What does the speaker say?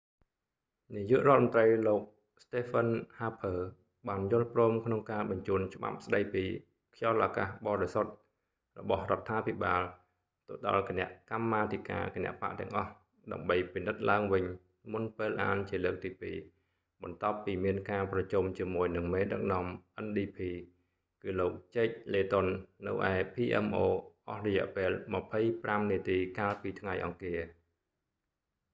នាយករដ្ឋមន្រ្តី លោក stephen harper ស្តេហ្វឹន ហាភើ បានយល់ព្រមក្នុងការបញ្ជូនច្បាប់ស្តី​ពី 'clean air act ខ្យល់​អាកាស​បរិសុទ្ធ' របស់​រដ្ឋាភិបាល ទៅដល់​គណៈកម្មាធិការ​គណបក្ស​ទាំងអស់ ដើម្បី​ពិនិត្យឡើងវិញ មុនពេលអានជាលើកទីពីរ បន្ទាប់ពីមានការប្រជុំជាមួយនឹងមេដឹកនាំ ndp គឺលោក jack layton ជែក ឡេតុន នៅឯ pmo អស់រយៈពេល 25 នាទីកាលពី​ថ្ងៃ​អង្គារ។